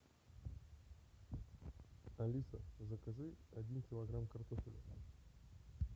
алиса закажи один килограмм картофеля